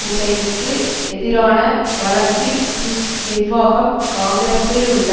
ஹுசைனுக்கு எதிரான வழக்கில் புஷ் நிர்வாகம் காங்கிரஸில் உள்ள